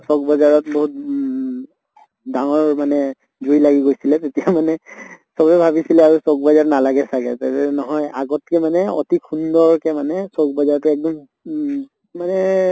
চʼক বজাৰত বহুত মুউ ডাঙৰ মানে জুই লাগি গৈছিলে, সেই তেতিয়া মানে চবে ভাবিছিলে আৰু চʼক বজাৰ নালাগে চাগে। নহয় আগতকে মানে অতি সুন্দৰকে মানে চʼক বজাৰটো উম মানে